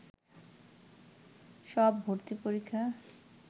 সব ভর্তি পরীক্ষা